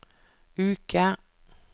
uke